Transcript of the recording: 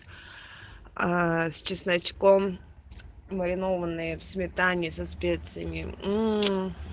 а с чесночком маринованные в сметане со специями